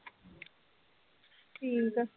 ਠੀਕ ਆ।